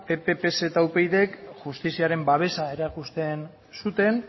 pp pse eta upydk justiziaren babesa erakusten zuten